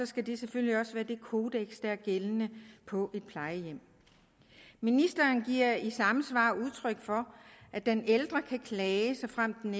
skal det selvfølgelig også være det kodeks der er gældende på et plejehjem ministeren giver i samme svar udtryk for at den ældre kan klage såfremt den